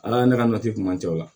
Ala ye ne ka nati kun man ca o la